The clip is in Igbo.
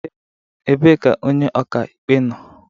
Ebee ka onye ọka ikpe nọ?